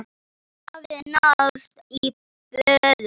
Það hafði náðst í böðul.